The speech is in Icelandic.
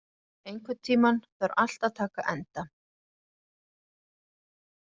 Adel, einhvern tímann þarf allt að taka enda.